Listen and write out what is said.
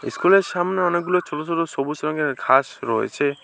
স্কুলের সামনে অনেকগুলো ছোট ছোট সবুজ রঙের ঘাস রয়েছে।